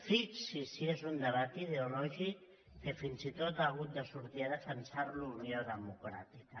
fixi’s si és un debat ideològic que fins i tot ha hagut de sortir a defensar lo unió democràtica